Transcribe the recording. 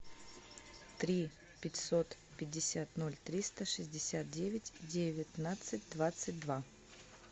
три пятьсот пятьдесят ноль триста шестьдесят девять девятнадцать двадцать два